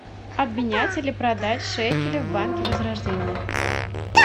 обменять или продать шекели в банке возрождение